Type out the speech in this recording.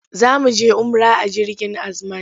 Za mu je umra a jirgin Azman.